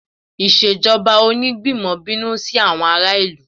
Ìṣèjọba Onígbìmọ̀ bínú sí àwọn ará ìlú